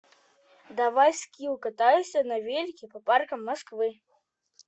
давай скилл катайся на велике по паркам москвы